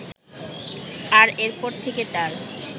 আর এরপর থেকে তাঁর